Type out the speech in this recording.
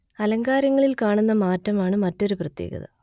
അലങ്കാരങ്ങളിൽ കാണുന്ന മാറ്റമാണ് മറ്റൊരു പ്രത്യേകത